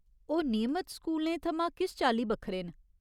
ओह् नियमत स्कूलें थमां किस चाल्ली बक्खरे न ?